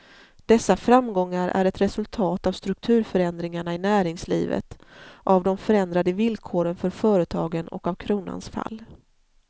Dessa framgångar är ett resultat av strukturförändringarna i näringslivet, av de förändrade villkoren för företagen och av kronans fall.